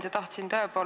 Hea ettekandja!